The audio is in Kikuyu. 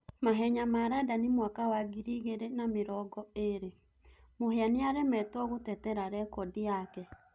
Mahenya ma Randani mwaka wa ngiri igĩrĩ na mĩrongo ĩrĩ :Mũhia nĩaremetwo gũtetera rekodi yake.